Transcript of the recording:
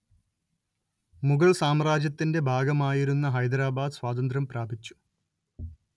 മുഗള്‍ സാമ്രാജ്യത്തിന്റെ ഭാഗമായിരുന്ന ഹൈദരാബാദ് സ്വാതന്ത്ര്യം പ്രാപിച്ചു